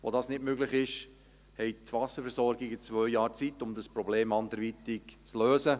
Wo das nicht möglich ist, haben die Wasserversorgungen zwei Jahre Zeit, um dieses Problem anderweitig zu lösen.